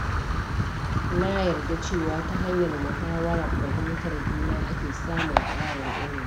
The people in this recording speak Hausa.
Na yarda cewa ta hanyar muhawar fahimtar juna ake samun ƙarin ilimi.